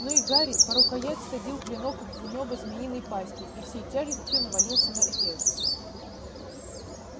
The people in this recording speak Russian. но и гарри по рукоять всадил клинок в нёбо змеиной пасти и всей тяжестью навалился на эфес